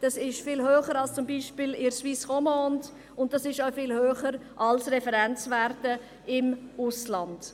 das ist viel höher als zum Beispiel in der Suisse romande und auch viel höher als Referenzwerte im Ausland.